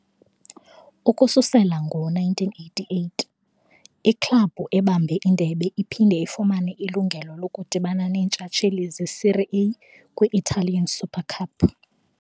Ukususela ngo-1988, iklabhu ebambe indebe iphinda ifumane ilungelo lokudibana neentshatsheli zeSerie A kwi-Italian Super Cup.